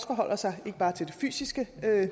forholder sig til det fysiske